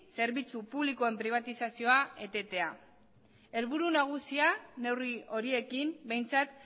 zerbitzu publikoen pribatizazioa etetea helburu nagusia neurri horiekin behintzat